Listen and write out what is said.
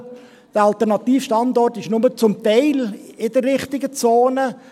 Dieser Alternativstandort ist nur zum Teil in der richtigen Zone.